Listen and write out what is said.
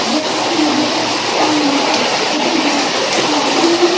जैसा कि मैं देख सकता हूं यहाँ पर छोटी लक लकड़ी हैं।